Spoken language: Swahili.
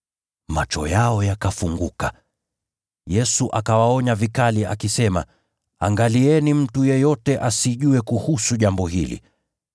Macho yao yakafunguka. Yesu akawaonya vikali, akisema, “Angalieni mtu yeyote asijue kuhusu jambo hili.”